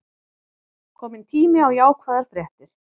Kominn tími á jákvæðar fréttir